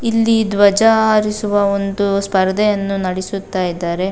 ಇಲ್ಲಿ ಧ್ವಜ ಹಾರಿಸುವ ಒಂದು ಸ್ಪರ್ಧೆಯನ್ನು ನಡೆಸುತ್ತ ಇದ್ದಾರೆ.